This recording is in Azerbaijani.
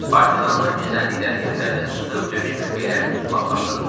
Partizanlar gizləndikləri yerlərdən çıxıb döyüş mövqelərini tutmağa başladılar.